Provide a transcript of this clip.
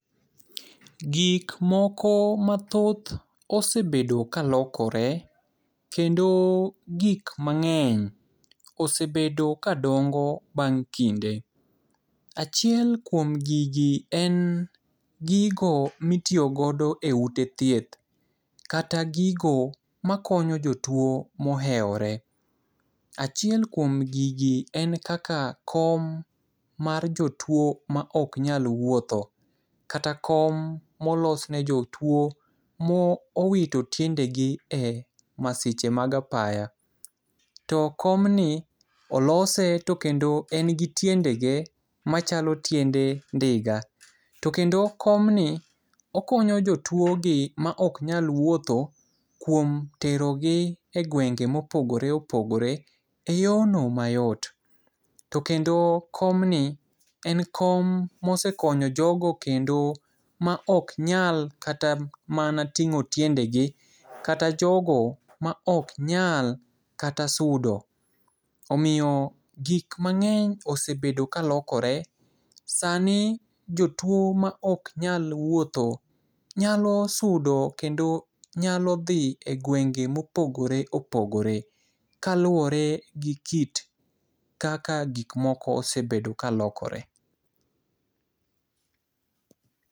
Gikmoko mathoth osebedo kalokore, kendo gik mang'eny osebedo kadongo bang' kinde. Achiel kuom gigi en gigo mitiyo godo e ute thieth, kata gigo makonyo jotuo moheore. Achiel kuom gigi en kaka kom mar jotuo ma oknyal wuotho, kata kom molosne jotuo mowito tiendegi e masiche mag apaya. To komni olose to kendo en gi tiendege machalo tiende ndiga. To kendo komni, okonyo jotuogi ma oknyal wuotho kuom tero gi e gwenge mopogore opogore e yono mayot. To kendo komni en kom mosekonyo jogo kendo ma oknyal kata mana ting'o tiendegi kata jogo ma oknyal kata sudo. Omiyo gik mang'eny osebedo kalokore. Sani jotuo ma oknyal wuoth, nyalo sudo kendo nyalo dhi e gwenge mopogore opogore, kaluore gi kit kaka gikmoko osebedo kalokore.